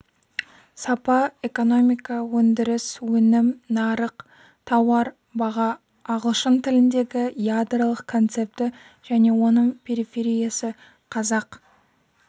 сапа экономика өндіріс өнім нарық тауар баға ағылшын тіліндегі ядролық концепті және оның перифериясы қазақ